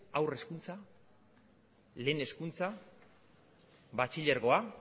haur hezkuntza lehen hezkuntza batxilergoa